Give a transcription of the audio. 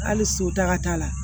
Hali so taga la